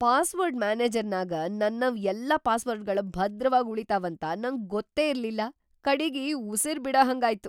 Password ಮ್ಯಾನೇಜರ್ನ್ಯಾಗ ನನ್ನವ್ ಎಲ್ಲಾ ಪಾಸ್ವರ್ಡ್ಗಳ‌ ಭದ್ರವಾಗ್ ಉಳಿತಾವಂತ ನಂಗ್ ಗೊತ್ತೇ ಇರ್ಲಿಲ್ಲಾ, ಕಡಿಗಿ ಉಸಿರ್‌ ಬಿಡಹಂಗಾಯ್ತು!